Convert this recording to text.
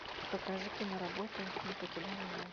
покажи киноработу не покидай меня